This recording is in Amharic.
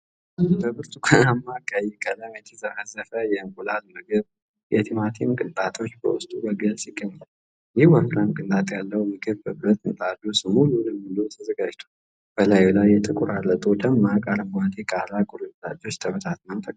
በብርቱካናማና ቀይ ቀለም የተዘፈዘፈ የእንቁላል ምግብ፤ የቲማቲም ቅንጣቶች በውስጡ በግልጽ ይገኛሉ። ይህ ወፍራም ቅንጣት ያለው ምግብ በብረት ምጣድ ውስጥ ሙሉ ለሙሉ ተዘጋጅቷል። በላዩ ላይ የተቆራረጡ ደማቅ አረንጓዴ የቃሪያ ቁርጥራጮች ተበትነው ተቀምጠዋል።